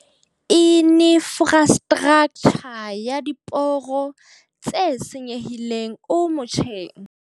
Infrastraktjha ya diporo tse senyehileng o motjheng.